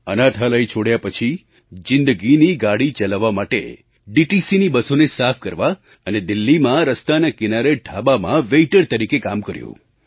અનાથાલય છોડ્યા પછી જિંદગીની ગાડી ચલાવવા માટે DTCની બસોને સાફ કરવા અને દિલ્હીમાં રસ્તાના કિનારે ઢાબામાં વેઇટર તરીકે કામ કર્યું